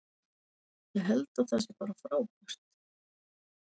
Ég held að það sé bara frábært.